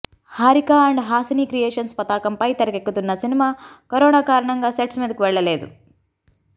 Harika and Haasini creations పతాకంపై తెరకెక్కుతున్న cinema corona కారణంగా సెట్స్ మీదకు వెళ్లలేదు